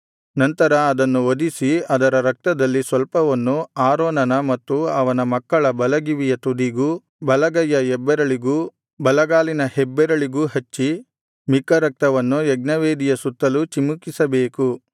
ನಂತರ ಅದನ್ನು ವಧಿಸಿ ಅದರ ರಕ್ತದಲ್ಲಿ ಸ್ವಲ್ಪವನ್ನು ಆರೋನನ ಮತ್ತು ಅವನ ಮಕ್ಕಳ ಬಲಗಿವಿಯ ತುದಿಗೂ ಬಲಗೈಯ ಹೆಬ್ಬೆರಳಿಗೂ ಬಲಗಾಲಿನ ಹೆಬ್ಬೆರಳಿಗೂ ಹಚ್ಚಿ ಮಿಕ್ಕ ರಕ್ತವನ್ನು ಯಜ್ಞವೇದಿಯ ಸುತ್ತಲು ಚಿಮುಕಿಸಬೇಕು